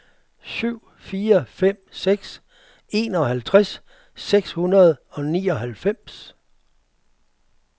syv fire fem seks enoghalvtreds seks hundrede og nioghalvfems